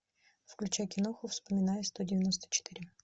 включай киноху вспоминая сто девяносто четыре